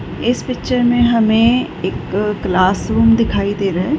इस पिक्चर मे हमे एक क्लासरूम दिखाई दे रहा है।